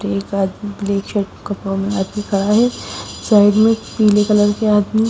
एक आदमी black shirt कपड़ों में आदमी खड़ा है साइड में पीले कलर के आदमी--